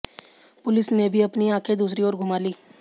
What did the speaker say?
police ने भी अपनी आंखें दूसरी ओर घुमा लीं